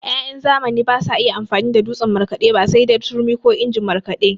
Ya'yan zamani basu iya amfani da dutsen markaɗe ba sai dai turmi ko injin markaɗe.